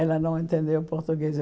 Ela não entendeu português.